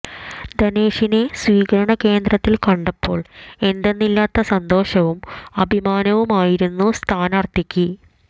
ധനേഷിനെ സ്വീകരണ കേന്ദ്രത്തിൽ കണ്ടപ്പോൾ എന്തെന്നില്ലാത്ത സന്തോഷവും അഭിമാനവുമായിരുന്നു സ്ഥാനാർത്ഥിക്ക്